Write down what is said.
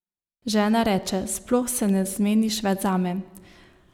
Žena reče: "Sploh se ne zmeniš več zame.